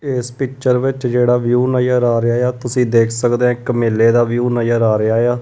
ਇਸ ਪਿੱਚਰ ਵਿੱਚ ਜਿਹੜਾ ਵਿਊ ਨਜ਼ਰ ਆ ਰਿਹਾ ਆ ਤੁਸੀਂ ਦੇਖ ਸਕਦੇ ਆਂ ਇੱਕ ਮੇਲੇ ਦਾ ਵਿਊ ਨਜ਼ਰ ਆ ਰਿਹਾ ਆ।